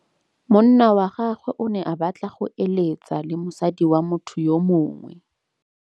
Monna wa gagwe o ne a batla go êlêtsa le mosadi wa motho yo mongwe.